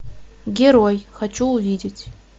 герой хочу увидеть